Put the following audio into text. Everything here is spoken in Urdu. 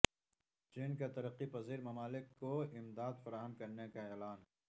چین کا ترقی پذیر ممالک کو امداد فراہم کرنے کا اعلان